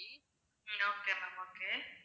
ah okay ma'am okay